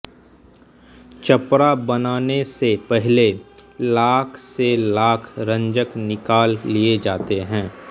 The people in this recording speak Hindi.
चपड़ा बनाने से पहले लाख से लाख रंजक निकाल लिए जाते हैं